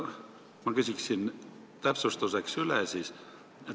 Ma küsin täpsustuseks veel.